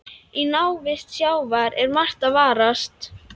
Í návist sjávar er margt að varast.